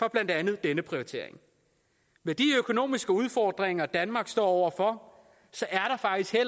blandt andet denne prioritering med de økonomiske udfordringer danmark står over for så